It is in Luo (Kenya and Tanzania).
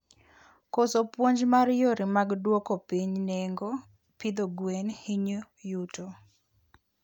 Koso puonj mar yore mag duoko piny nengo pidhoo gwen hinyo yuto